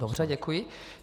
Dobře, děkuji.